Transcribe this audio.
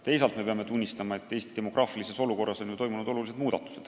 Teisalt peame tunnistama, et Eesti demograafilises olukorras on ju toimunud suured muutused.